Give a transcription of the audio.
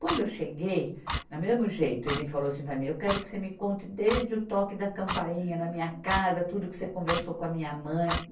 Quando eu cheguei, na mesmo jeito, ele falou assim para mim, eu quero que você me conte desde o toque da campainha na minha casa, tudo que você conversou com a minha mãe.